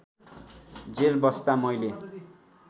jail बस्दा मैले